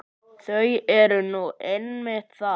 Það er nú einmitt það!